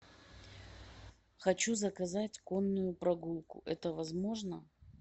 хочу заказать конную прогулку это возможно